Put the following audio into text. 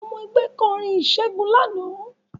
Àwọn ọmọ ẹgbẹ́ kọrin ìṣègun lánàá